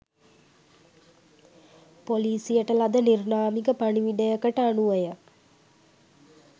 පොලීසියට ලද නිර්ණාමික පණිවුඩයකට අනුවය.